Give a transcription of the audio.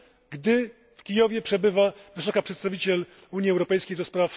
gdy w Kijowie przebywa wysoka przedstawiciel Unii Europejskiej ds.